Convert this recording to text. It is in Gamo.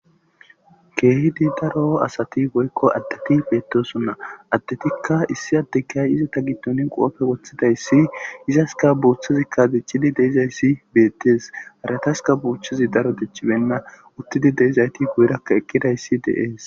Keehidi daro asati woykko addeti beettosonna. Addetikka issi addekiyay izata giddonine qoobbe woththida issi izaska buuchchazikka dichidi de'iza issi beettees. Harataska buuchchazi daro dichchibenna uttidi de'izayti guyerakka eqqida issi dees.